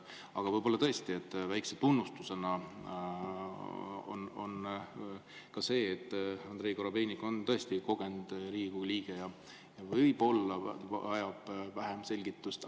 Aga tõesti väikese tunnustusena, et Andrei Korobeinik on tõesti kogenud Riigikogu liige ja võib-olla vajab vähem selgitust.